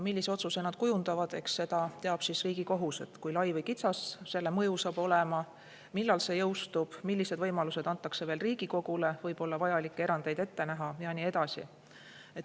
Millise otsuse nad kujundavad – eks seda teab siis Riigikohus, kui lai või kitsas selle mõju saab olema, millal see jõustub, millised võimalused antakse veel Riigikogule võib-olla vajalikke erandeid ette näha ja nii edasi.